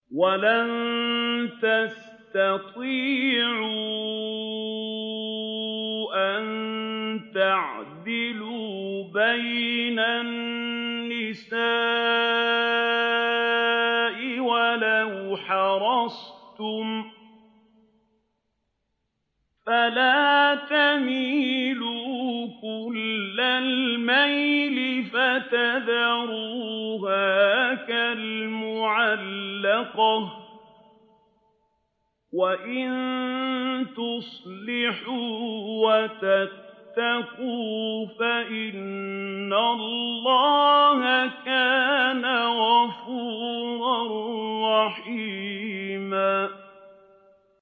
وَلَن تَسْتَطِيعُوا أَن تَعْدِلُوا بَيْنَ النِّسَاءِ وَلَوْ حَرَصْتُمْ ۖ فَلَا تَمِيلُوا كُلَّ الْمَيْلِ فَتَذَرُوهَا كَالْمُعَلَّقَةِ ۚ وَإِن تُصْلِحُوا وَتَتَّقُوا فَإِنَّ اللَّهَ كَانَ غَفُورًا رَّحِيمًا